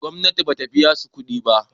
gomnati ba ta biya su kuɗi ba